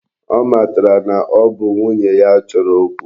Ọ matara na ọ bụ nwunye ya chọrọ okwu.